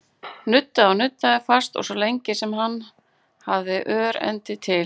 Nuddaði og nuddaði, fast og svo lengi sem hann hafði örendi til.